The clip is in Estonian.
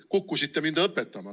Te kukkusite mind õpetama.